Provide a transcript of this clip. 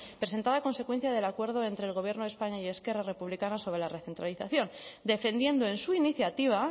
presentada a consecuencia del acuerdo entre el gobierno de españa y esquerra republicana sobre la recentralización defendiendo en su iniciativa